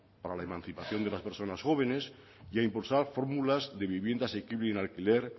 para la emancipación de las personas jóvenes y a impulsar fórmulas de vivienda asequible en alquiler